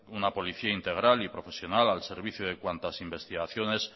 una policía integral y profesional al servicio de cuantas investigaciones